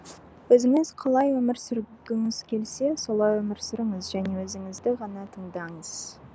өзіңіз қалай өмір сүргіңіз келсе солай өмір сүріңіз және өзіңізді ғана тыңдаңыз